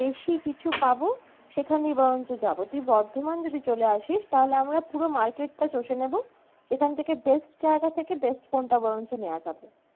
বেশি কিছু পাবো সেখানেই বরঞ্চ যাবো। তুই বর্ধমান যদি চলে আসিস তাহলে আমরা পুরো market টা চসে নেবো, সেখান থেকে best জায়গা থেকে best phone টা বরঞ্চ নেওয়া যাবে।